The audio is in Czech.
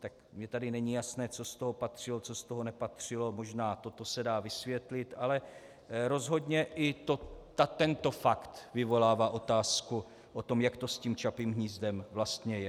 Tak mně tady není jasné, co z toho patřilo, co z toho nepatřilo, možná toto se dá vysvětlit, ale rozhodně i tento fakt vyvolává otázku o tom, jak to s tím Čapím hnízdem vlastně je.